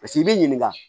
Paseke i b'i ɲininka